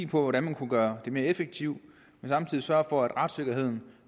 på hvordan man kunne gøre det mere effektivt men samtidig sørge for at retssikkerheden